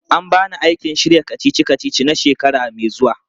An ba ni aikin shirya kacici-kacici na shekara mai zuwa.